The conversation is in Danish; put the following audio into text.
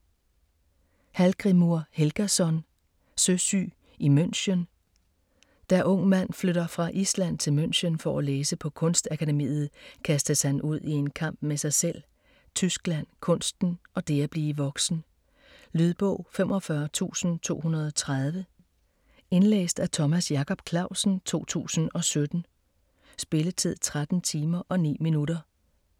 Hallgrímur Helgason: Søsyg i München Da Ung Mand flytter fra Island til München for at læse på Kunstakademiet, kastes han ud i en kamp med sig selv, Tyskland, kunsten og det at blive voksen. Lydbog 45230 Indlæst af Thomas Jacob Clausen, 2017. Spilletid: 13 timer, 9 minutter.